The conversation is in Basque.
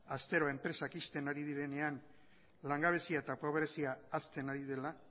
astero enpresak ixten ari direnean langabezia eta pobrezia hazten ari dela